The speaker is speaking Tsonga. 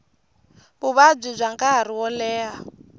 vuvabyi bya nkarhi wo leha